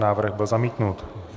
Návrh byl zamítnut.